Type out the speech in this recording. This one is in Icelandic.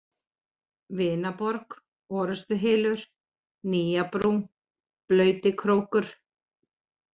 Vinaborg, Orrustuhylur, Nýjabrú, Blautikrókur